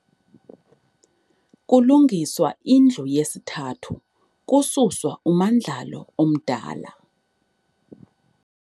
Kulungiswa indlu yesithathu, kususwa ummandlalo omdala.